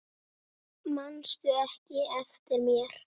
Manstu ekki eftir mér?